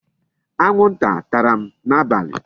Anwụ nta tara m n'abalị.